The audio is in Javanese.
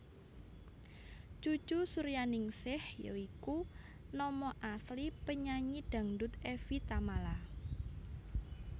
Cucu Suryaningsih Ya iku nama asli penyanyi dangdut Evi Tamala